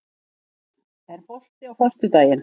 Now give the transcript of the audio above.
Steinhildur, er bolti á föstudaginn?